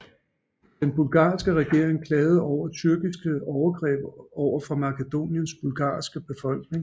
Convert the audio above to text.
Den bulgarske regering klagede over tyrkiske overgreb over for Makedoniens bulgarske befolkning